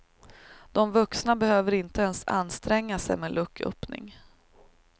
De vuxna behöver inte ens anstränga sig med lucköppning.